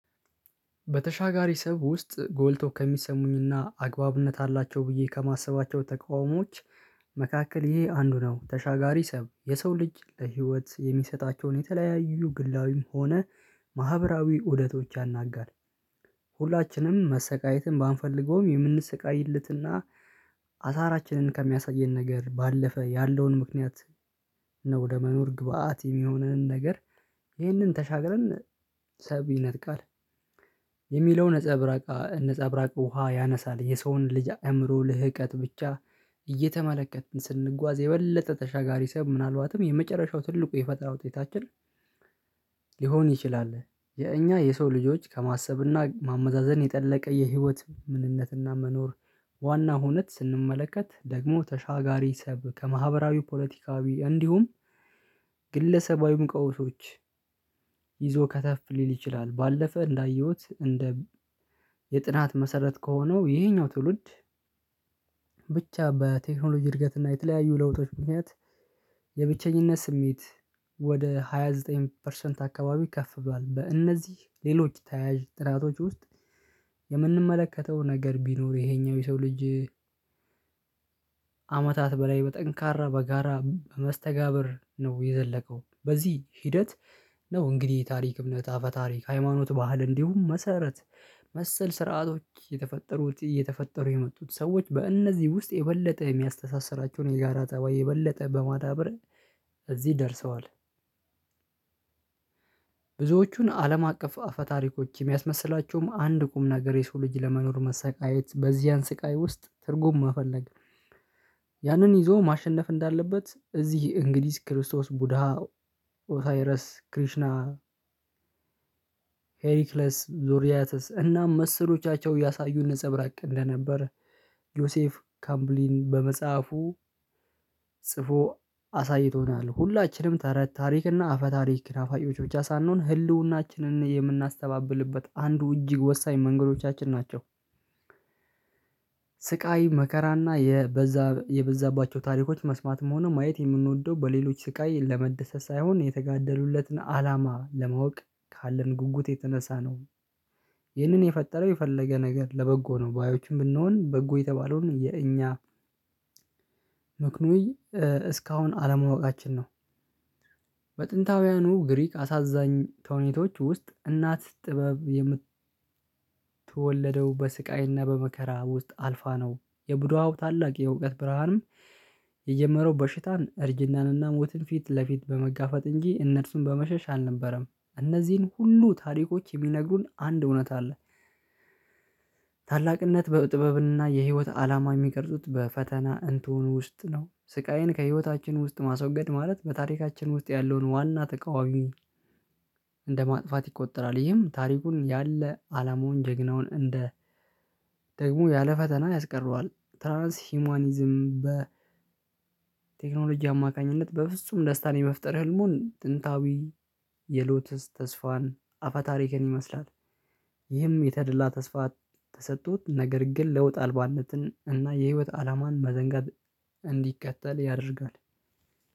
በተሻጋሪ ሰው ውስጥ ጎልቶ ከሚሰሙኝና አግባብነት አላቸው ብዬ ከማሰባቸው ተቃውሞዎች መካከል ይሄ አንዱ ነው። ተሻጋሪ ሰብ የሰው ልጅ ለህይወት የሚሰጣቸውን የተለያዩ ግላዊም ሆነ ማህበራዊ ውደቶች ያናጋል። ሁላችንም መሰቃየትን ባንፈልገውም የምንስቃይለትና አሳራችንን ከሚያሳየን ነገር ባለፈ ያለውን ምክንያት ነው ለመኖር ግብአት የሚሆነንን ነገር ይህንን ተሻግረን ሰብአዊነት ቃል የሚለው ነፃ ብራቅ ነፃ ብራቅ ውሃ ያነሳል። የሰውን ልጅ አእምሮ ልህቀት ብቻ እየተመለከትን ስንጓዝ የበለጠ ተሻጋሪ ሳይሆን ምናልባትም የመጨረሻው ትልቁ የፈጣረሠ ውጤታችን ሊሆን ይችላል። የእኛ የሰው ልጆች ከማሰብና ማመዛዘን የጠለቀ የህይወት ምንነትና መኖር ዋና ሁነት ስንመለከት ደግሞ ተሻጋሪ ሰብ ከማህበራዊ፤ ፖለቲካዊ፤ እንዲሁም ግለሰባዊ መቃወሶች ይዞ ከተፍ ሊል ይችላል። ባለፈ እንዳየሁት እንደ የጥናት መሰረት ከሆነው ይሄኛው ትውልድ ብቻ በቴክኖሎጂ እድገት እና የተለያዩ ለውጦች ምክንያት የብቸኝነት ስሜት ወደ ሃያ ዘጠኝ ፐርሰንት አካባቢ ከፍ ብሏል። በእነዚህ ሌሎች ተያያዥ ጥራቶች ውስጥ የምንመለከተው ነገር ቢኖር ይሄኛው የሰው ልጅ አመታት በላይ በጠንካራ በጋራ በመስተጋብር ነው የዘለቀው በዚህ ሂደት ነው እንግዲህ የታሪክ እምነት አፈ ታሪክ ሃይማኖት ባህል እንዲሁም መሰረት መሰል ስርዓቶች የተፈጠሩት እየተፈጠሩ የመጡት። ሰዎች በእነዚህ ውስጥ የበለጠ የሚያስተሳስራቸውን የጋራ ጠባይ የበለጠ በማዳበር እዚህ ደርሰዋል። ብዙዎቹን አለም አቀፍ አፈ-ታሪኮች የሚያስመስላቸውም አንድ ቁም ነገር የሰው ልጅ ለመኖር መሰቃየት በዚያን ስቃይ ውስጥ ትርጉም መፈለግ ያንን ይዞ ማሸነፍ እንዳለበት እዚህ እንግሊዝ፤ ክርስቶስ፤ ቡድሃ፤ ኦታይረስ ክሪሽና፤ ሄሪክለስ፤ ዙርያተስ፤ እናም መሰሎቻቸው ያሳዩን ነፀብራቅ እንደነበር ዮሴፍ ካምብሊን በመጽሐፉ ጽፎ አሳይቶናል። ሁላችንም ታረ፤ ታሪክ፤ እና አፈ-ታሪክ ናፋቂዎች ብቻ ሳንሆን ህልውናችንን የምናስተባብልበት አንዱ እጅግ ወሳኝ መንገዶቻችን ናቸው። ስቃይ መከራና የበዛ የበዛባቸው ታሪኮች መስማትም ሆነ ማየት የምንወደው በሌሎች ስቃይ ለመደሰት ሳይሆን የተጋደሉለትን አላማ ለማወቅ ካለን ጉጉት የተነሳ ነው። ይህንን የፈጠረው የፈለገ ነገር ለበጎ ነው ባዮችም ብንሆን በጎ የተባለውን የእኛ ምክኖይ እስካሁን አለማወቃችን ነው። በጥንታውያኑ ግሪክ አሳዛኝ ተውኔቶች ውስጥ እናት ጥበብ የምት ተወለደው በስቃይና በመከራ ውስጥ አልፋ ነው። የቡድሃው ታላቅ የእውቀት ብርሃንም የጀመረው በሽታ፤ እርጅናንና፤ ሞትን ፊት ለፊት በመጋፈጥ እንጂ እነርሱን በመሸሽ አልነበረም። እነዚህን ሁሉ ታሪኮች የሚነግሩን አንድ እውነት አለ ታላቅነት በጥበብና የህይወት አላማ የሚቀርጹት በፈተና እንቶኒ ውስጥ ነው። ስቃይን ከህይወታችን ውስጥ ማስወገድ ማለት በታሪካችን ውስጥ ያለውን ዋና ተቃዋሚ እንደማጥፋት ይቆጠራል። ይህም ታሪኩን ያለ አላማውን ጀግናውን እንደ ደግሞ ያለ ፈተና ያስቀረዋል። ትራንስ ሂውማኒዝም በ ቴክኖሎጂ አማካኝነት በፍጹም ደስታን የመፍጠር ህልሙን ጥንታዊ የሎተስ ተስፋን አፋታሪክን ይመስላል። ይህም የተደላ ተስፋ ተሰጥቶት ነገር ግን ለውጥ አልባነትን እና የህይወት አላማን መዘንጋት እንዲከተል ያደርጋል።